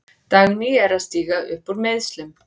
Dagný er að stíga upp úr meiðslum.